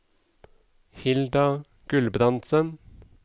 Hilda Gulbrandsen